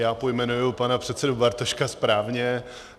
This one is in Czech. Já pojmenuji pana předsedu Bartoška správně.